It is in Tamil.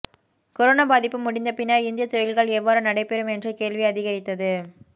கொரோனா பாதிப்பு முடிந்த பின்னர் இந்திய தொழில்கள் எவ்வாறு நடைபெறும் என்ற கேள்வி அதிகரித்தது